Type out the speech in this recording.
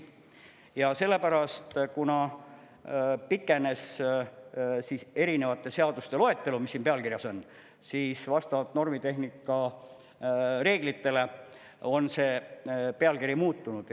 Ja sellepärast, kuna pikenes erinevate seaduste loetelu, mis siin pealkirjas on, siis vastavalt normitehnika reeglitele on see pealkiri muutunud.